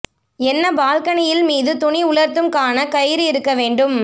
என்ன பால்கனியில் மீது துணி உலர்த்தும் க்கான கயிறு இருக்க வேண்டும்